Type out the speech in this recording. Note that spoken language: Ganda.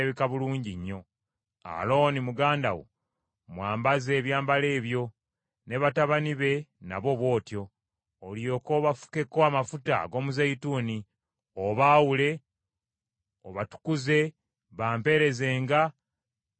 Alooni muganda wo mwambaze ebyambalo ebyo, ne batabani be nabo bw’otyo; olyoke obafukeko amafuta ag’omuzeeyituuni, obaawule, obatukuze, bampeerezenga nga be bakabona.